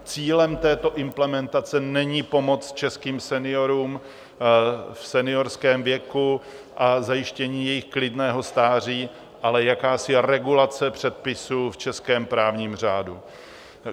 Cílem této implementace není pomoc českým seniorům v seniorském věku a zajištění jejich klidného stáří, ale jakási regulace předpisů v českém právním řádu.